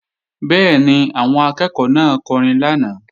Bẹ́ẹ̀ni, àwọn akẹ́ẹ̀kọ́ náà kọrin lánàá